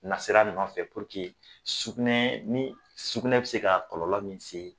Nasira nɔfɛ sugunɛ bɛ se ka kɔlɔlɔ min se